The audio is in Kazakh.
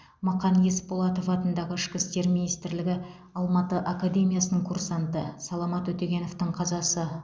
мақан есболатов атындағы ішкі істер министрлігі алматы академиясының курсанты саламат өтегеновтің қазасы